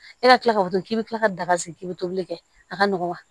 E ka kila ka to ten k'i bi kila ka daga sigi k'i bi tobili kɛ a ka nɔgɔn wa